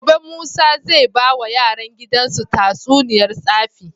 Gobe musa zai bawa yaran gidan su tatsuniyar tsafi